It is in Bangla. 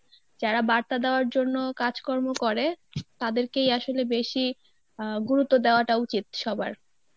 যারা বার্তা দেওয়ার জন্য কাজকর্ম করে তাদেরকেই আসলে বেশি আহ গুরুত্ব দেওয়াটা উচিত সবার.